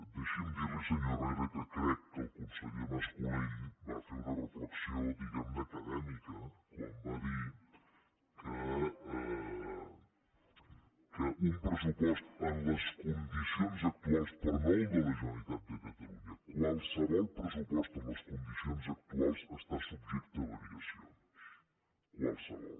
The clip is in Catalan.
deixi’m dir li senyor herrera que crec que el conseller mas colell va fer una reflexió diguem ne acadèmica quan va dir que un pressupost en les condicions actuals però no el de la generalitat de catalunya qualsevol pressupost en les condicions actuals està subjecte a variacions qualsevol